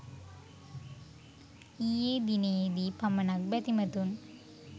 ඊයේ දිනයේ දී පමණක් බැතිමතුන්